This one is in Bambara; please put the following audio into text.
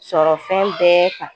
Sɔrɔfɛn bɛɛ kan.